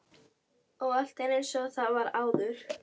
Og allt er einsog það var áður.